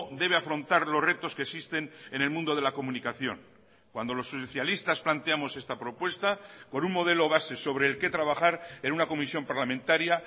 debe afrontar los retos que existen en el mundo de la comunicación cuando los socialistas planteamos esta propuesta con un modelo base sobre el que trabajar en una comisión parlamentaria